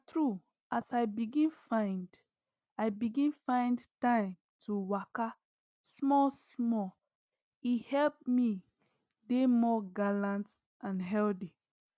na true as i begin find i begin find time to waka small small e help me dey more gallant and healthy